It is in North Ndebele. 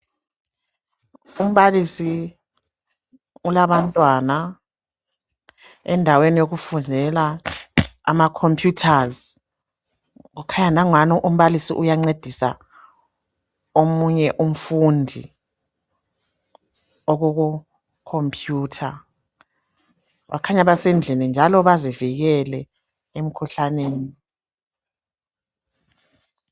Umbalisi ulabantwana endaweni yokufundela amacomputers kukhanya langani umbalisi uyancedisa omunye umfundi okukhompiyutha. Bakhanya basendlini njalo bazivikele emikhuhlaneni.